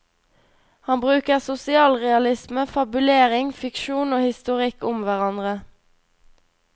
Han bruker sosialrealisme, fabulering, fiksjon og historikk om hverandre.